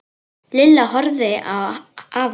Lilla horfði á afa sinn.